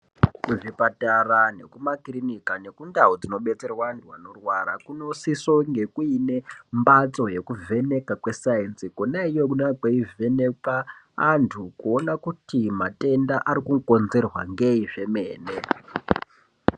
Kuzvipatara nekumakirinika nekundau dzinobetserwa antu anorwara. Kunosisonge kuine mbatso yekuvheneka kwesaenzi. Konaiyo kweivhenekwa antu kuona kuti matenda ari kukonzerwa ngei zvemene.